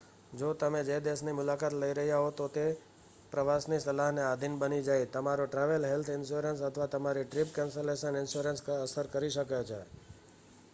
જો તમે જે દેશની મુલાકાત લઈ રહ્યા હો તો તે પ્રવાસ ની સલાહને આધિન બની જાય, તમારો ટ્રાવેલ હેલ્થ ઇન્શ્યોરન્સ અથવા તમારો ટ્રિપ કેન્સલેશન ઇન્શ્યોરન્સ અસર કરી શકે છે